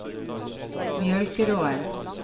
Mjølkeråen